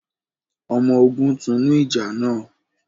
ọmọ ògún tunu ìjà nà